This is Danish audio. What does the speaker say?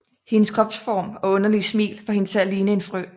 Hendes kropsform og underlige smil får hende til at ligne en frø